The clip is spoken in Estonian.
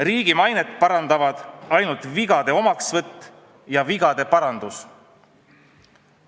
Riigi mainet parandavad ainult vigade omaksvõtt ja vigade parandus.